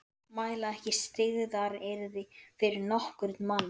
Mæla ekki styggðaryrði við nokkurn mann.